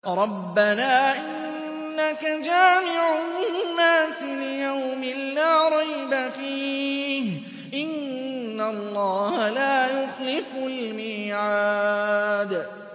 رَبَّنَا إِنَّكَ جَامِعُ النَّاسِ لِيَوْمٍ لَّا رَيْبَ فِيهِ ۚ إِنَّ اللَّهَ لَا يُخْلِفُ الْمِيعَادَ